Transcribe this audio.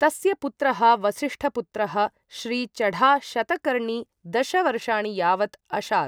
तस्य पुत्रः वसिष्ठपुत्रः श्री चढा शतकर्णी दश वर्षाणि यावत् अशात्।